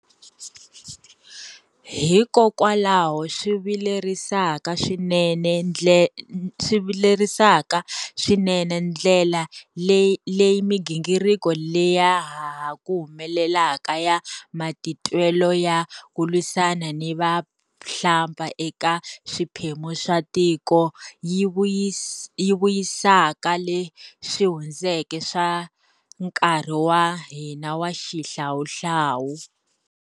Hikokwalaho swi vilerisaka swinene ndlela leyi migingiriko leya ha ku humelelaka ya matitwelo ya ku lwisana ni vahlampfa eka swiphemu swa tiko yi vuyisaka leswi hundzeke swa nkarhi wa hina wa xihlawuhlawu.